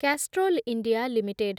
Castrol India limited